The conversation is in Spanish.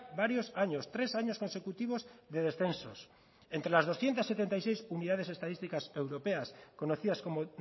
varios años tres años consecutivos de descensos entre las doscientos setenta y seis unidades estadísticas europeas conocidas como